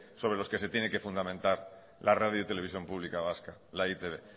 sobre los que se tiene que fundamentar la radio televisión pública vasca la e i te be